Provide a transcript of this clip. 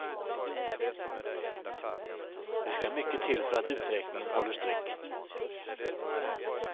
Det ska mycket till för att uträkningen håller streck.